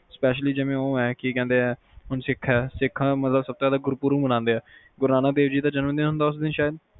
specially ਜਿਵੇ ਓ ਆ ਕਿ ਕਹਿੰਦੇ ਆ ਸਿੱਖ ਆ ਸਿੱਖਾਂ ਦਾ ਗੁਰੂਪੁਰਬ ਮਨਾਂਦੇ ਆ ਗੁਰੂ ਨਾਨਕ ਦੇਵ ਜੀ ਜਨਮ ਦਿਨ ਹੁੰਦਾ ਉਸ ਦਿਨ ਸ਼ਾਇਦ?